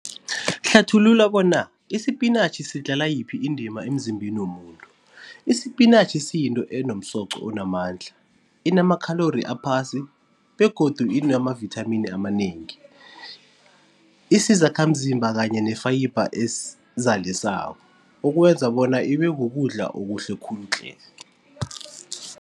Hlathulula bona isipinatjhi sidlala yiphi indima emzimbeni womuntu. Isipinatjhi siyinto enomsoco onamandla, inama-calorie aphasi begodu inamavithamini amanengi, isizakhamzimba kanye ne-fiber ukwenza bona ibe kukudla okuhle khulu tle.